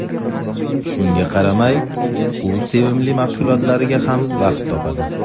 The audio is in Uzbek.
Shunga qaramay, u sevimli mashg‘ulotlariga ham vaqt topadi.